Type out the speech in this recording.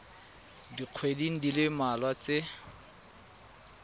dikgweding di le mmalwa tse